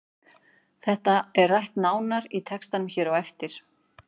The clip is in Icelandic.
Þetta er rætt nánar í textanum hér á eftir.